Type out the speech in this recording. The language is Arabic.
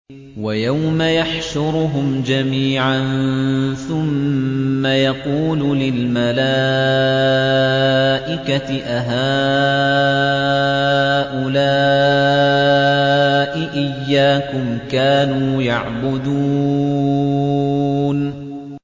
وَيَوْمَ يَحْشُرُهُمْ جَمِيعًا ثُمَّ يَقُولُ لِلْمَلَائِكَةِ أَهَٰؤُلَاءِ إِيَّاكُمْ كَانُوا يَعْبُدُونَ